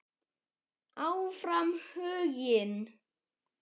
Áfram Huginn.